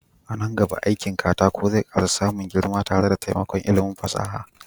A nan gaba aikin katako zai ƙara samun girma tare da taimakon ilimin fasaha.